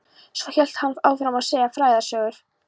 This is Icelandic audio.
Svo hélt hann áfram að segja frægðarsögur.